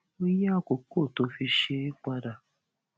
ó yí àkókò tó fi ṣe é padà